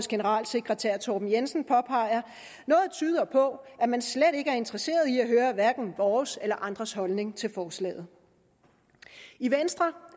generalsekretær torben jensen påpeger noget tyder på at man slet ikke er interesseret i at høre hverken vores eller andres holdning til forslaget i venstre